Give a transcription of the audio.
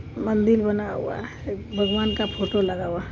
मंदील बना हुआ है एक भगवान का फोटो लगा हुआ है |